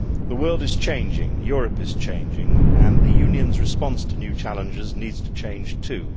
The world is changing, Europe is changing, and the Union's response to new challenges needs to change too.